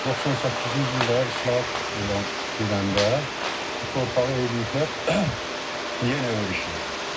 98-ci ildə islahat olan gedəndə bu torpağı eləyiblər yenə örüş yeri.